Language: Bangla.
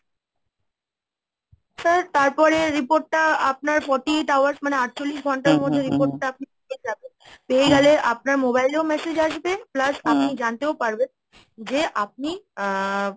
sir তারপরে report টা আপনার forty eight hours মানে আটচল্লিশ ঘন্টার মধ্যে report টা আপনি পেয়ে যাবেন, পেয়ে গেলে আপনার mobile এও message আসবে, plus আপনি জানতেও পারবেন যে আপনি আহ!